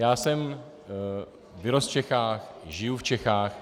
Já jsem vyrostl v Čechách, žiju v Čechách.